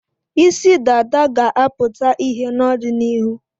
Isi dada ga-apụta ìhè n'ọdịnihu.